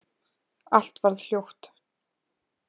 Allt varð hljótt.